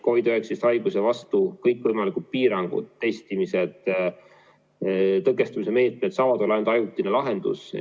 COVID-19 haiguse vastu kõikvõimalikud piirangud, testimised ja muud tõkestamise meetmed saavad olla ainult ajutine lahendus.